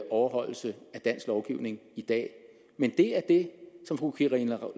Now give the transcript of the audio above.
overholdelse af dansk lovgivning i dag men det er det som fru karina